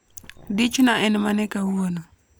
dich na en mane kauono